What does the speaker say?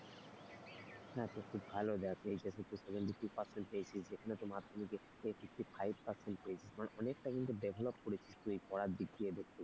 সেটা তো খুব ভালো দেখ। HS এ তুই seventy two percent পেয়েছিস সেখানে তো মাধ্যমিকে fifty five percent পেয়েছিস মানে অনেকটা কিন্তু develop করেছিস তুই পড়ার দিক থেকে।